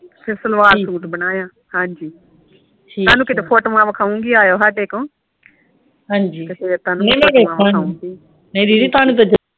ਫੇਰ ਸਲਵਾਰ ਸੂਟ ਬਣਾਇਆ ਹਾਂਜੀ ਤਾਹਨੂੰ ਕੀਤੇ ਫੋਟੋਵਾ ਦਿਖਾਉਂਗੀ ਅਇਓ ਕਦੀ ਸਾਡੇ ਕੋਲ ਫੇਰ ਮੈਂ ਤਾਹਨੂੰ ਦਿਖਾਉਂਗੀ